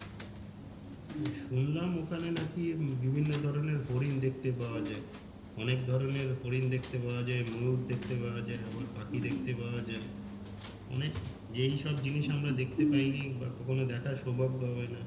হম শুনলাম ওখানে নাকি বিভিন্ন রকমের হরিণ দেখতে পাওয়া যাই অনেক রকমের হরিণ দেখতে পাওয়া যাই ময়ূর দেখতে পাওয়া যাই আবার পাখি দেখতে পাওয়া যাই অনেক যেই সব জিনিস আমরা দেখতে পাইনি বা কখনো দেখার সৌভাগ্য হবে না